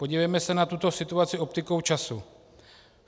Podívejme se na tuto situaci optikou času.